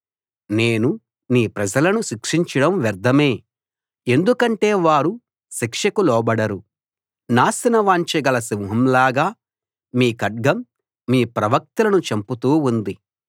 నేను మీ ప్రజలను శిక్షించడం వ్యర్థమే ఎందుకంటే వారు శిక్షకు లోబడరు నాశనవాంఛ గల సింహంలాగా మీ ఖడ్గం మీ ప్రవక్తలను చంపుతూ ఉంది